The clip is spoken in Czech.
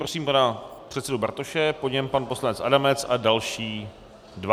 Prosím pana předsedu Bartoše, po něm pan poslanec Adamec a další dva.